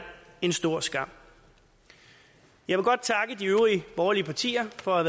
en stor skam jeg vil godt takke de øvrige borgerlige partier for at